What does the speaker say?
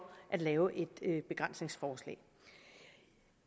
at lave et begrænsningsforslag